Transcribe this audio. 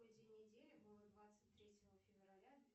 какой день недели было двадцать третье февраля